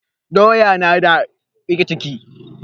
Doya na da riƙe ciki